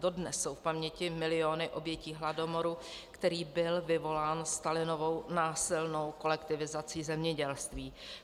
Dodnes jsou v paměti miliony obětí hladomoru, který byl vyvolán Stalinovou násilnou kolektivizací zemědělství.